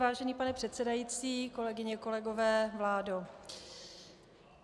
Vážený pane předsedající, kolegyně, kolegové, vládo.